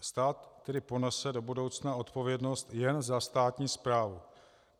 Stát tedy ponese do budoucna odpovědnost jen za státní správu.